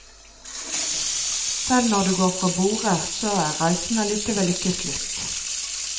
Selv når du går fra borde, så er reisen allikevel ikke slutt.